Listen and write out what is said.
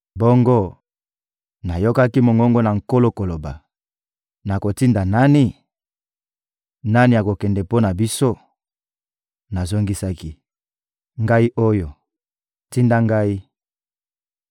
Bongo, nayokaki mongongo na Nkolo koloba: — Nakotinda nani? Nani akokende mpo na biso? Nazongisaki: — Ngai oyo, tinda ngai!